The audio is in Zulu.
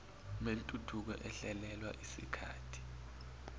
bentuthuko ehlelelwa isikathi